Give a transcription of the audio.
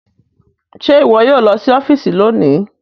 Ṣe iwọ yoo lọ si ọfiisi loni